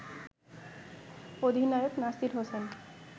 অধিনায়ক নাসির হোসেন